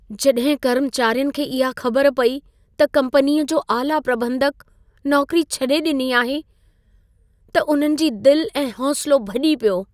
जॾहिं कर्मचारियुनि खे इहा ख़बर पई त कम्पनीअ जो आला प्रॿंधक नौकरी छॾी ॾिनी आहे, त उन्हनि जी दिल ऐं हौसलो भॼी पियो।